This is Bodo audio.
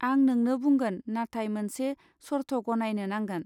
आं नोंनो बुंगोन नाथाय मोनसे सर्थ गनायनो नांगोन.